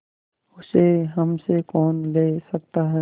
उसे हमसे कौन ले सकता है